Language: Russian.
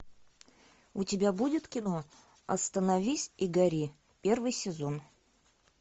у тебя будет кино остановись и гори первый сезон